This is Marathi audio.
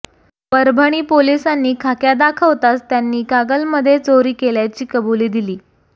परभणी पोलिसांनी खाक्या दाखवताच त्यांनी कागलमध्ये चोरी केल्याची कबुली दिली